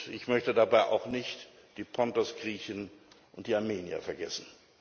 Ich möchte dabei auch nicht die Pontos Griechen und die Aramäer vergessen.